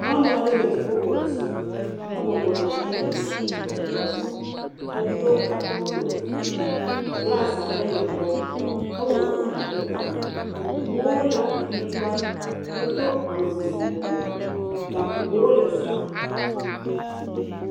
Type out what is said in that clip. Nyɔnua aɖe le dziƒo xɔ dzi ebɔbɔ nɔ anyi le kɔmputa ɖɔ wɔm. Edo gaƒo ɖokui. Glas ɖe le egbɔ. Ewɔ eda ɖe ta. Eŋuwo le anyigbã, edo awu yibɔ. Gakpowo le afima.